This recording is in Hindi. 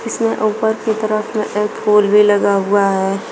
इसमें ऊपर की तरफ एक फूल भी लगा हुआ है।